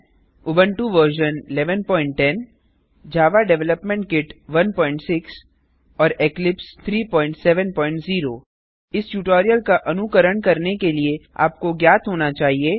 Ubuntu version 1110 Java development kit 16 और Eclipse 370 इस tutorial का अनुकरण करने के लिए आपको ज्ञात होना चाहिए